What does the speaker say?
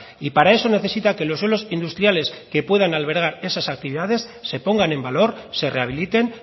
y para eso necesita que los suelos industriales que puedan albergar esas actividades se pongan en valor se rehabiliten